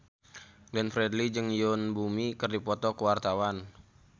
Glenn Fredly jeung Yoon Bomi keur dipoto ku wartawan